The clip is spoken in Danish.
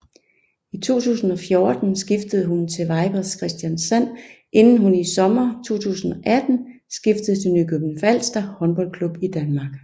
I 2014 skiftede hun til Vipers Kristiansand inden hun i sommeren 2018 skiftede til Nykøbing Falster Håndboldklub i Danmark